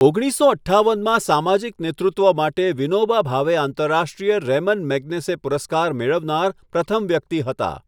ઓગણીસસો અઠ્ઠાવનમાં સામાજિક નેતૃત્વ માટે વિનોબા ભાવે આંતરરાષ્ટ્રીય રેમન મેગ્સેસે પુરસ્કાર મેળવનાર પ્રથમ વ્યક્તિ હતા.